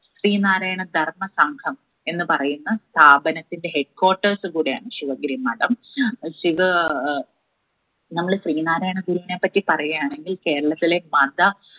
ശ്രീനാരായണ ധർമ്മ സംഘം എന്ന് പറയുന്ന സ്ഥാപനത്തിന്റെ head quaters കൂടെയാണ് ശിവഗിരി മഠം ശിവ ആഹ് നമ്മള് ശ്രീനാരായണ ഗുരുവിനെപ്പറ്റി പറയാനെങ്കിൽ കേരളത്തിലെ മത